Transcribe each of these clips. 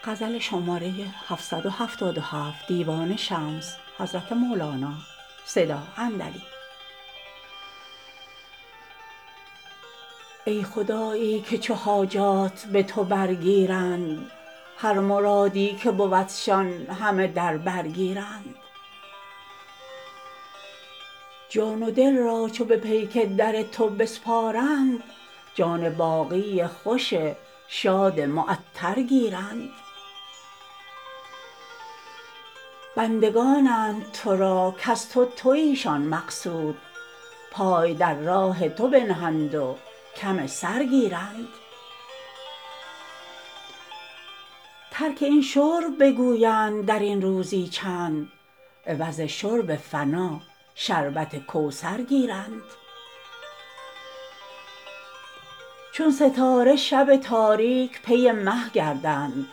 ای خدایی که چو حاجات به تو برگیرند هر مرادی که بودشان همه در بر گیرند جان و دل را چو به پیک در تو بسپارند جان باقی خوش شاد معطر گیرند بندگانند تو را کز تو تویشان مقصود پای در راه تو بنهند و کم سر گیرند ترک این شرب بگویند در این روزی چند عوض شرب فنا شربت کوثر گیرند چون ستاره شب تاریک پی مه گردند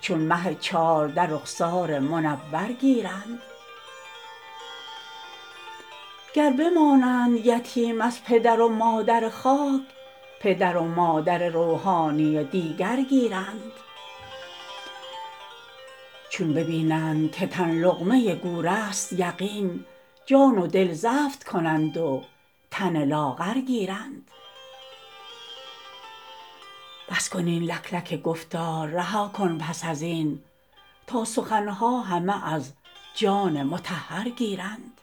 چو مه چارده رخسار منور گیرند گر بمانند یتیم از پدر و مادر خاک پدر و مادر روحانی دیگر گیرند چون ببینند که تن لقمه گورست یقین جان و دل زفت کنند و تن لاغر گیرند بس کن این لکلک گفتار رها کن پس از این تا سخن ها همه از جان مطهر گیرند